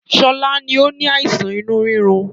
Sọlá ni ó ní àìsàn inú rírun